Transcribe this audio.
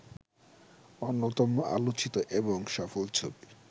অন্যতম আলোচিত এবং সফল ছবি